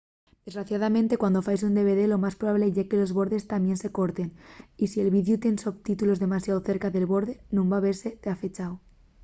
desgraciadamente cuando faes un dvd lo más probable ye que los bordes tamién se corten y si’l videu tien sotítulos demasiao cerca del borde nun van vese dafechu